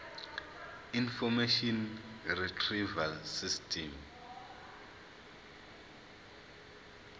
information retrieval system